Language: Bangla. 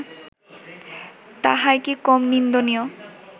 তাহাই কি কম নিন্দনীয়